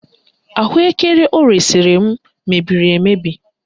Ahụekere o resiri m mebiri emebi